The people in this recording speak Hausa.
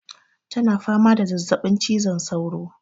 ta na fama da zazzabin cizon saura